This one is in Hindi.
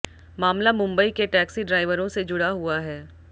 मामला मुंबई के टैक्सी ड्राइवरों से जुड़ा हुआ है